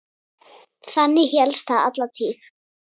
Þannig hélst það alla tíð.